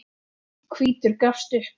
Hvítur gafst upp.